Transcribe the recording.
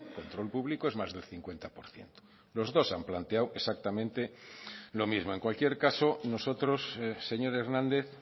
control público es más del cincuenta por ciento los dos han planteado exactamente lo mismo en cualquier caso nosotros señor hernández